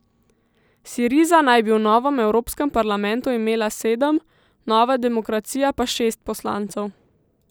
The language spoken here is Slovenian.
Siriza naj bi v novem evropskem parlamentu imela sedem, Nova demokracija pa šest poslancev.